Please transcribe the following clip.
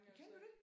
Kender du det?